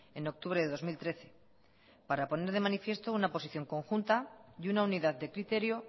en octubre de dos mil trece para poner de manifiesto una posición conjunta y una unidad de criterio